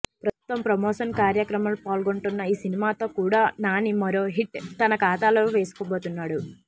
ప్రస్తుతం ప్రమోషన్ కార్యక్రమాల్లో పాల్గొంటున్న ఈ సినిమాతో కూడా నాని మరో హిట్ తన ఖాతాలో వేసుకోబోతున్నాడు